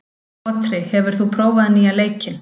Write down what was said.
Otri, hefur þú prófað nýja leikinn?